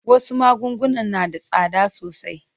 Wasu magunguna na da tsada sosai.